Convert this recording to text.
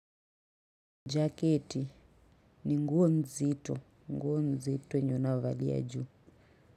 Jacket ni nguonzi to nguonzi to yenyeunayo valia juu.